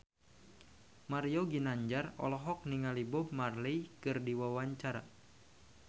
Mario Ginanjar olohok ningali Bob Marley keur diwawancara